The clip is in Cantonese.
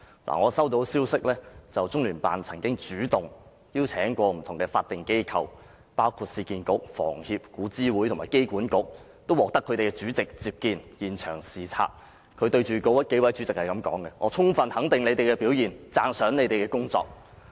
我接獲消息，中聯辦曾經主動邀請不同法定機構，包括市區重建局、香港房屋協會、古物諮詢委員會和香港機場管理局會面，並獲所有法定機構的主席接見和到現場視察，中聯辦官員對那數位主席說："我充分肯定你們的表現，讚賞你們的工作。